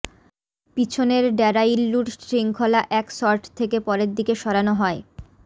পিছনের ড্যারাইল্লুর শৃঙ্খলা এক শর্ট থেকে পরের দিকে সরানো হয়